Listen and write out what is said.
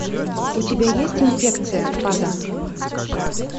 у тебя есть инфекция фаза